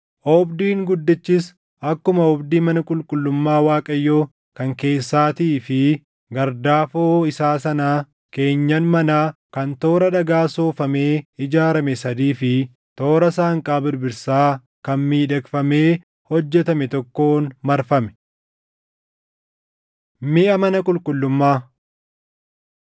Oobdiin guddichis akkuma oobdii mana qulqullummaa Waaqayyoo kan keessaatii fi gardaafoo isaa sanaa keenyan manaa kan toora dhagaa soofamee ijaarame sadii fi toora saanqaa birbirsaa kan miidhagfamee hojjetame tokkoon marfame. Miʼa Mana Qulqullummaa 7:23‑26 kwf – 2Sn 4:2‑5 7:38‑51 kwf – 2Sn 4:6; 4:10–5:1